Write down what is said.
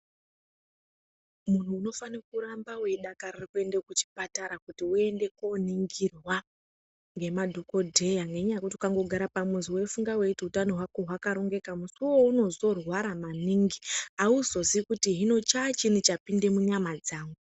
munhu unofanire kuramba weidakarire kuramba weienda kuchipatara kuti uende koningirwa ngemadhokodheya ngenda yekuti ukangogara pamuzi weifunga wechiti hutano hwako hwakarongeka musi waunozorwara maningi hauziziyi kuti chachii chapinde munyama dzangu.